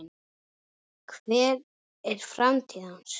Hver er framtíð hans?